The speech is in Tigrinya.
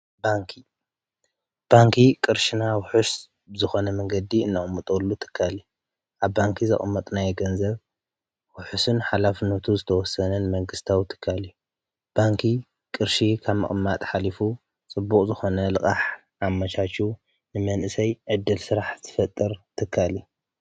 ባንኪ፡- ባንኪ ቕርሽና ውሑስ ዝኾነ መንገዲ እነቕምጠሉ ትካል አዩ፡፡ ኣብ ባንኪ ዘቕመጥናዮ ገንዘብ ውሑስን ሓላፍነቱ ዝተወሰነን መንግስታዊ ትካል እዩ፡፡ ባንኪ ቅርሺ ካብ መቕማጥ ኃሊፉ ጽቡቕ ዝኾነ ልቓሕ ኣማቻችዩ ንመንእሰይ ዕደል ስራሕ ዝፈጥር ትካል እዩ፡፡